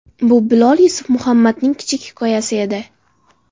Bu Bilol Yusuf Muhammadning kichik hikoyasi edi.